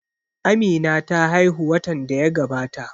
Amina ta haihu watan da ya gabata